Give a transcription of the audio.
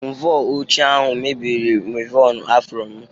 Mvọ ochie ahụ mebiri m wịvọn afro m.